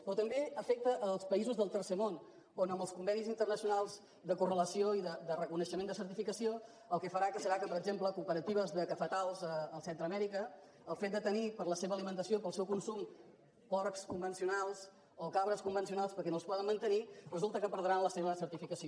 però també afecta els països del tercer món on amb els convenis internacionals de correlació i de reconeixement de certificació el que farà serà que per exemple cooperatives de cafetars a centre amèrica pel fet de tenir per a la seva alimentació i per al seu consum porcs convencionals o cabres convencionals perquè no els poden mantenir resulta que perdran la seva certificació